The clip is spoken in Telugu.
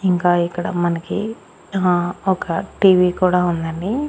ఇంకా ఇక్కడ మనకి ఆ ఒక టీవీ కూడా ఉంది అండి.